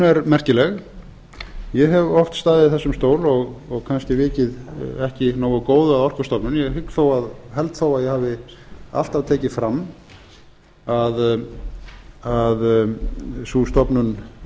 er merkileg ég hef oft staðið í þessum stóli og kannski vikið ekki nógu góðu að orkustofnun ég held þó að ég hafi alltaf tekið fram